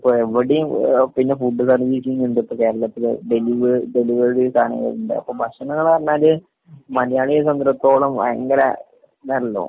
ഇവടിം ഏഹ് പിന്നെ ഫുഡ് തല മീറ്റിങ്ങുണ്ട്. ഇപ്പൊ കേരളത്തില് ഡെലിവറി ഡെലിവറി സാധനങ്ങള് ഇണ്ട്. അപ്പൊ ഭക്ഷണങ്ങള്ന്ന് പറഞ്ഞാല് മലയാളിയെ സംബന്ധിച്ചിടത്തോളം ഭയങ്കര ഇതാണല്ലോ?